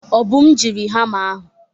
Obum jiri hamma ahụ.